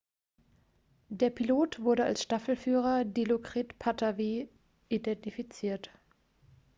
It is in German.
der pilot wurde als staffelführer dilokrit pattavee identifiziert